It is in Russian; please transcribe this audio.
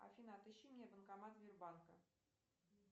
афина отыщи мне банкомат сбербанка